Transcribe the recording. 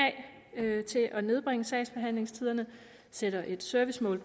af til at nedbringe sagsbehandlingstiderne sætter et servicemål